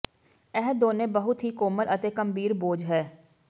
ਇਹ ਦੋਨੋ ਬਹੁਤ ਹੀ ਕੋਮਲ ਅਤੇ ਗੰਭੀਰ ਬੋਝ ਹੈ